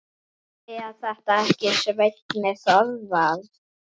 Er þetta ekki Svenni Þórðar?